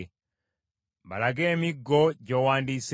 Balage emiggo gy’owandiiseeko,